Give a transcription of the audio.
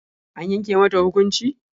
An yanke mata hukunci?